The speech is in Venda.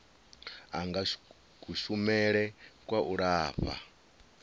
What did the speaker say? anga kushumele kwa u lafha